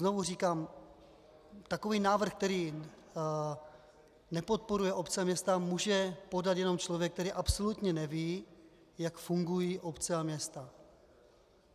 Znovu říkám, takový návrh, který nepodporuje obce a města, může podat jenom člověk, který absolutně neví, jak fungují obce a města.